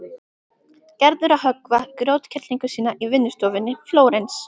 Gerður að höggva grjótkerlingu sína í vinnustofunni í Flórens.